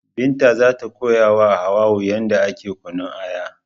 Binta zata koyawa Hauwa'u yadda ake kunnun Aya